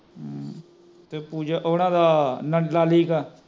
ਤੇ ਪੂਜਾ ਕਾ ਉੰਨਾ ਕਾ ਲਾਲੀ ਦਾ